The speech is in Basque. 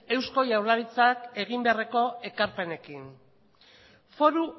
eusko jaurlaritzak egin beharreko ekarpenekin foru